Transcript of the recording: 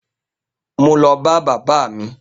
Mo lọ bá bàbá mi